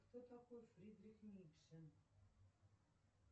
кто такой фридрих ницше